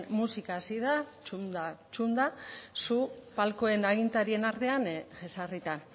musika hasi da txunda txunda zu palkoen agintarien artean jesarrita